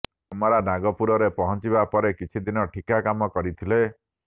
ଚମରା ନାଗପୁରରେ ପହଂଚିବା ପରେ କିଛି ଦିନ ଠିକ୍ଠାକ କାମ କରିଥିଲେ